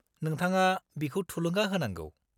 -नोंथाङा बिखौ थुलुंगा होनांगौ।